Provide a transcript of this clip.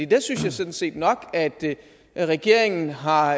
der synes jeg sådan set nok at regeringen har